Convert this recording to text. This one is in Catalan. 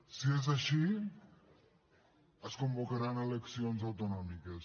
si és així es convocaran eleccions autonòmiques